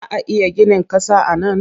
Za a iya ginin ƙasa a nan?